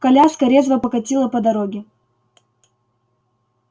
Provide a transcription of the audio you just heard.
коляска резво покатила по дороге